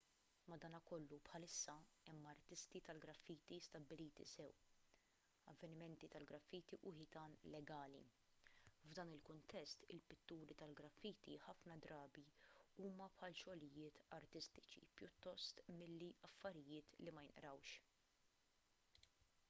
madankollu bħalissa hemm artisti tal-graffiti stabbiliti sew avvenimenti tal-graffiti u ħitan legali . f'dan il-kuntest il-pitturi tal-graffiti ħafna drabi huma bħal xogħlijiet artistiċi pjuttost milli affarijiet li ma jinqrawx